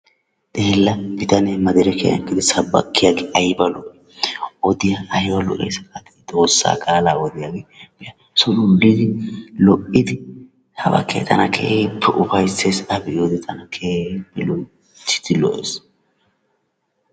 Xeella bitanee madirekkiyan eqqidi sabakkiyaagee aybba lo''i! Odiyaa aybba lo''eessi gadi! Xoossa qaalaa odiyaagee be'a, solddidi lo''idi sabakkee tana keehippe ufayssees . A be'iyoode tana keehippe loyttidi lo''ees.